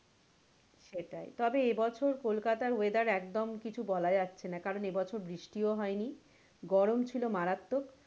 সেটাই তবে এবছর কোলকাতার weather একদম কিছু বলা যাচ্ছে না কারন এবছর বৃষ্টিও হয়নি গরম ছিল মারাত্মক,